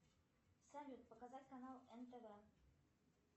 салют показать канал нтв